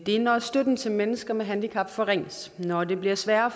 er når støtten til mennesker med handicap forringes når det bliver sværere at